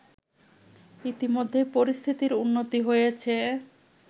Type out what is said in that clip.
ইতোমধ্যেই পরিস্থিতির উন্নতি হয়েছে